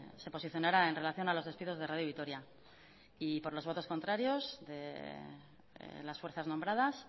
se posicionara en relación a los despidos de radio vitoria y por los votos contrarios de las fuerzas nombradas